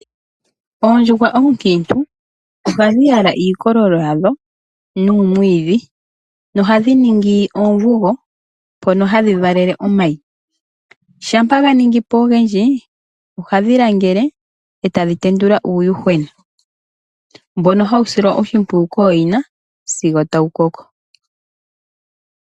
Oondjuhwa oonkiintu ohadhi yala iikololo yadho nuumwiidhi, nohadhi ningi oomvugo mpono hadhi valele omayi. Shampa ga ningi po ogendji, ohadhi langele, e tadhi tendula uuyuhwena mbono hawu silwa oshimpwiyu kooyina sigo tawu koko.